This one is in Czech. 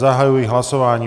Zahajuji hlasování.